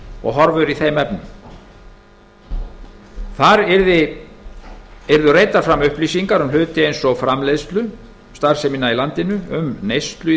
og horfur í þeim efnum þar yrðu reiddar fram upplýsingar um hluti eins og framleiðslustarfsemina í landinu neyslu í